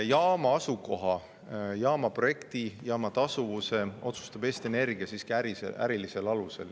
Jaama asukoha, jaama projekti, jaama tasuvuse otsustab Eesti Energia siiski ärilisel alusel.